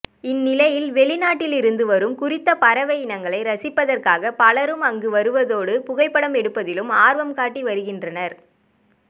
இந்நிலையில் வெளிநாட்டிலிருந்து வரும் குறித்த பறவையினங்களை ரசிப்பதற்காக பலரும் அங்கு வருவதோடு புகைப்படம் எடுப்பதிலும் ஆர்வம் காட்டி வருகின்றனர்